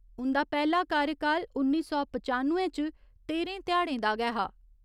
उन्दा पैह्‌ला कार्यकाल उन्नी सौ पचानुए च तेह्‌रें ध्याड़े दा गै हा।